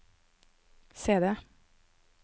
CD